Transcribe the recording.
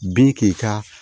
Bin k'i ka